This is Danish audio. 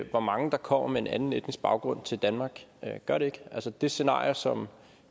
hvor mange der kommer med en anden etnisk baggrund til danmark gør det ikke altså det scenarie som